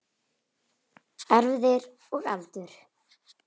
Erfðir og aldur